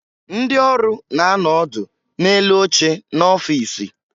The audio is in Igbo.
Ndị ọrụ na-anọ ọdụ n'elu oche n'ọfiisi